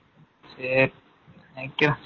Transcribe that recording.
சரி